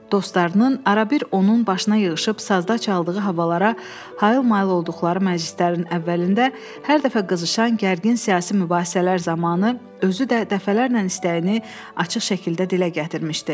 Dostlarının arabir onun başına yığışıb sazda çaldığı havalara hayıl-mayıl olduqları məclislərin əvvəlində hər dəfə qızışan gərgin siyasi mübahisələr zamanı özü də dəfələrlə istəyini açıq şəkildə dilə gətirmişdi.